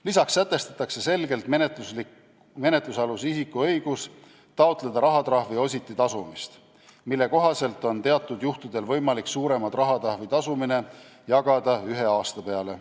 Lisaks sätestatakse selgelt menetlusaluse isiku õigus taotleda rahatrahvi ositi tasumist, mille kohaselt on teatud juhtudel võimalik suurema rahatrahvi tasumine jagada ühe aasta peale.